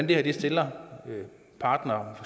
det her stiller partnere